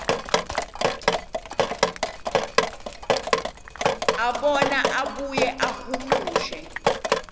abone abuye ahumushe